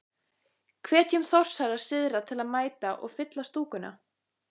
Hvetjum Þórsara syðra til að mæta og. fylla stúkuna?